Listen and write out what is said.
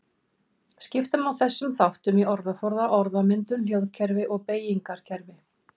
Skipta má þessum þáttum í orðaforða, orðmyndun, hljóðkerfi og beygingarkerfi.